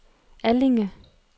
Allinge